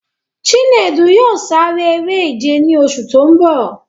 Chinedu yóò sare eré-ìje ní oṣù tó ń bọ̀.